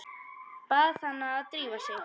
Bað hana að drífa sig.